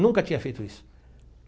Nunca tinha feito isso.